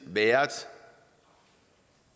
været